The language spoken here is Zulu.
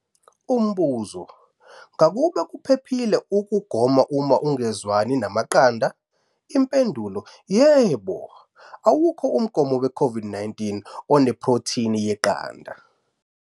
Umbuzo- Ngakube kuphephile ukugoma uma ungezwani namaqanda? Impendulo- Yebo. Awukho umgomo weCOVID-19 onephrotheni yeqanda.